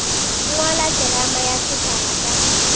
ngwala terama ya sefala ka